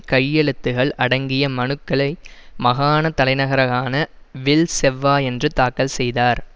கையெழுத்துகள் அடங்கிய மனுக்களை மகாண தலைநகரான வில் செவ்வாயன்று தாக்கல் செய்தார்